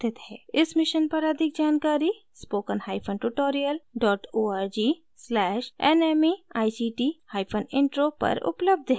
इस मिशन पर अधिक जानकारी के लिए spokentutorialorg/nmeictintro पर उपलब्ध है